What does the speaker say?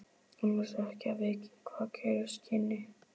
Annars ekki að vita hvað gerast kynni.